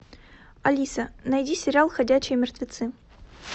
алиса найди сериал ходячие мертвецы